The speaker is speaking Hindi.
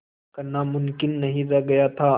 करना मुमकिन नहीं रह गया था